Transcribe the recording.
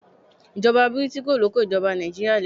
Ìjọba bìrìtìkó ló kó ìjoba Nàìjíríà lẹ́rú